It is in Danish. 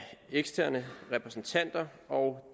eksterne repræsentanter og